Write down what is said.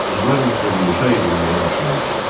Qızlar məktəbi inşa edilməyə başlanmışdı.